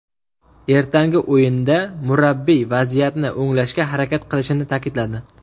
Ertangi o‘yinda murabbiy vaziyatni o‘nglashga harakat qilishini ta’kidladi.